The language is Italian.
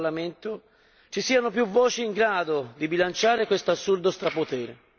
Mi auguro quindi che nel prossimo Parlamento ci siano più voci in grado di bilanciare questo assurdo strapotere.